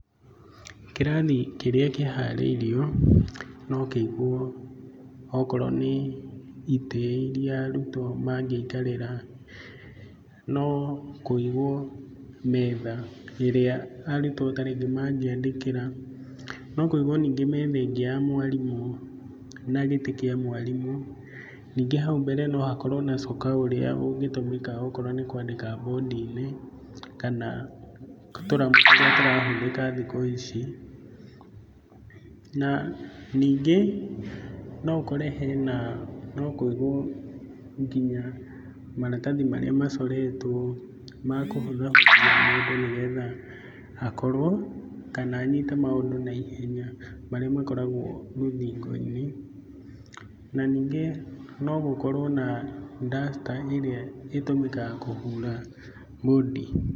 Kĩrathi kĩrĩa kĩharĩirio no kĩigwo okorwo nĩ itĩ iria arutwo mangĩikarĩra, no kũigwo metha ĩria taringĩ arutwo mangĩ andĩkĩra, no kũigwo ningĩ metha ĩngĩ ya mwarimũ na gĩtĩ kia mwarimũ. Ningĩ haũ mbere nohakorwo na coka ũrĩa ũngĩtũmĩka okorwo nĩ kwandĩka mbũndi-inĩ kana tũramũ tũrĩa tũrahũthĩka thikũ ici, na ningĩ noũkore hena nokũigwo nginya maratathi marĩa macoretwo makũhũthahũthia maũndũ nĩgetha hakorwo, kana anyite maũndũ na ihenya marĩa makoragwo rũthingo-inĩ, na ningĩ nogũkorwo na duster iria ĩtũmĩkaga kũhura mbũndi.